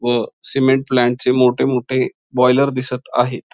व सिमेंट प्लांटचे मोठे मोठे बॉयलर दिसत आहेत.